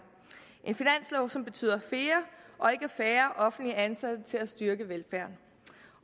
en finanslov som betyder flere og ikke færre offentligt ansatte til at styrke velfærden